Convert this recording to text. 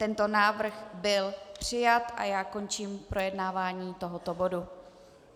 Tento návrh byl přijat a já končím projednávání tohoto bodu.